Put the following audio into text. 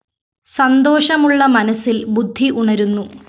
സന്തോഷമുള്ള മനസ്സില്‍ ബുദ്ധി ഉണരുന്നു